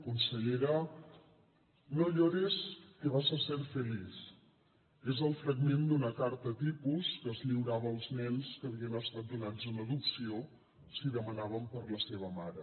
consellera no llores que vas a ser feliz és el fragment d’una carta tipus que es lliurava als nens que havien estat donats en adopció si demanaven per la seva mare